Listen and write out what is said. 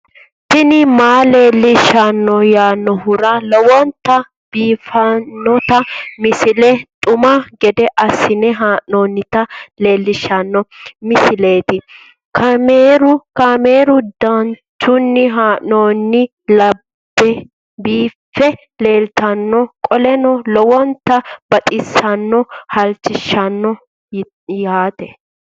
tini maa leelishshanno yaannohura lowonta biiffanota misile xuma gede assine haa'noonnita leellishshanno misileeti kaameru danchunni haa'noonni lamboe biiffe leeeltannoqolten lowonta baxissannoe halchishshanno yaate